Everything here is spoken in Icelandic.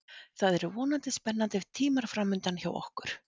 Það eru vonandi spennandi tímar framundan hjá okkur.